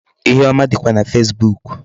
Ihe ọma dịkwa na Facebook.